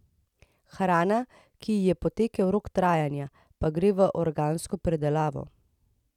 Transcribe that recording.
Hrana, ki ji je potekel rok trajanja, pa gre v organsko predelavo.